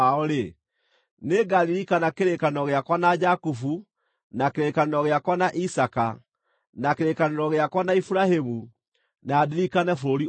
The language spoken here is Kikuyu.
nĩngaririkana kĩrĩkanĩro gĩakwa na Jakubu, na kĩrĩkanĩro gĩakwa na Isaaka, na kĩrĩkanĩro gĩakwa na Iburahĩmu, na ndirikane bũrũri ũcio.